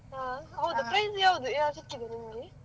ಹಾ, ಹೌದಾ prize ಯಾವುದ್ ಯಾವ್ ಸಿಕ್ಕಿದಾ ನಿಮಗೆ.